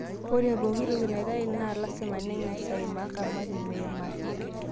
Ore pooki toki naitaai na lasima neng'as aimaa kamati mmeimaki